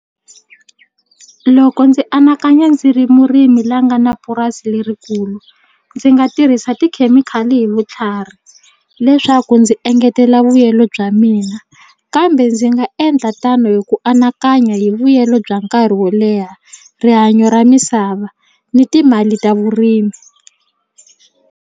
Loko ndzi anakanya ndzi ri murimi la nga na purasi lerikulu ndzi nga tirhisa tikhemikhali hi vutlhari leswaku ndzi engetela vuyelo bya mina kambe ndzi nga endla tano hi ku anakanya hi vuyelo bya nkarhi wo leha rihanyo ra misava ni timali ta vurimi.